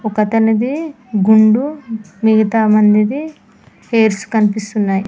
ఒకతనిది గుండు మిగతా మందిది హైర్స్ కనిపిస్తున్నాయి.